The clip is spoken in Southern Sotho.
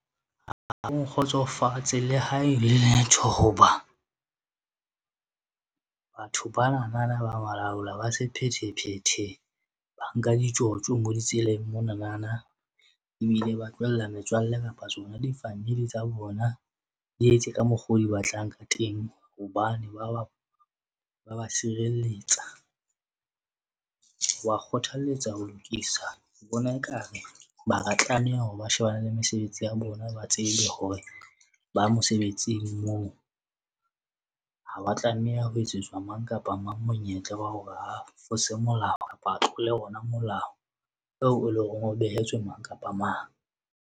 Nkgotsofatse le hae letho hoba batho banana ba balaola- sephethephethe, ba nka ditjotjo bo ditseleng, monanana ebile ba tlohella metswalle kapa tsona di-family tsa bona. Di etse ka mokgwa o di batlang ka teng hobane ba, ba sireletsa. Ke ba kgothalletsa ho lokisa bona e kare ba ka tlameha hore ba shebane le mesebetsi ya bona, ba tsebe hore ba mosebetsing moo. Ha ba tlameha ho etsetswa mang kapa mang monyetla wa hore a fose molao, kapa a tlole ona molao eo eleng hore o behetswe mang kapa mang.